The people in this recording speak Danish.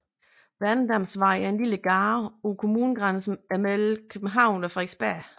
Værnedamsvej er en lille gade på kommunegrænsen mellem København og Frederiksberg